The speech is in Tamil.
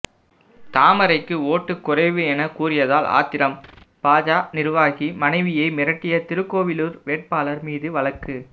தாமரைக்கு ஓட்டு குறைவு என கூறியதால் ஆத்திரம் பாஜ நிர்வாகி மனைவியை மிரட்டிய திருக்கோவிலூர் வேட்பாளர் மீது வழக்கு